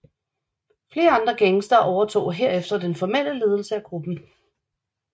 Flere andre gangstere overtog herefter den formelle ledelse af gruppen